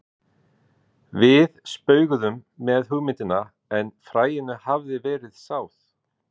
Við spauguðum með hugmyndina en fræinu hafði verið sáð.